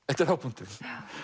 þetta er hápunkturinn